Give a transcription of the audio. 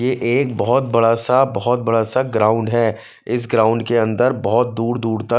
ये एक बहोत बड़ा सा बहोत बड़ा सा ग्राउंड है इस ग्राउंड के अंदर बहोत दूर दूर तक--